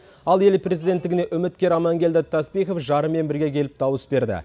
ал ел президенттігіне үміткер аманкелді таспихов жарымен бірге келіп дауыс берді